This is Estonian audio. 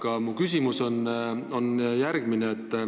Aga mu küsimus on järgmine.